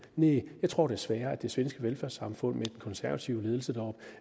næh jeg tror desværre at det svenske velfærdssamfund med den konservative ledelse